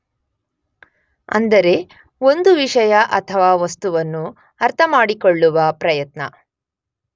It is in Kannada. ಅಂದರೆ ಒಂದು ವಿಷಯ ಅಥವಾ ವಸ್ತುವನ್ನು ಅರ್ಥಮಾಡಿಕೊಳ್ಳುವ ಪ್ರಯತ್ನ